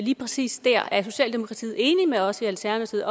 lige præcis der er socialdemokratiet enige med os i alternativet